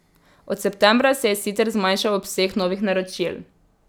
Od septembra se je sicer zmanjšal obseg novih naročil.